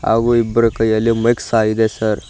ಹಾಗು ಇಬ್ರು ಕೈಯಲ್ಲಿ ಮೈಕ್ ಸಹ ಇದೆ ಸರ್ .